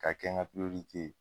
Ka kɛ n ka ye.